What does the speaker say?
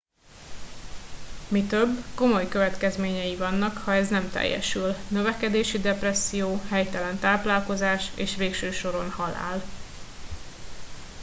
mi több komoly következményei vannak ha ez nem teljesül növekedési depresszió helytelen táplálkozás és végső soron halál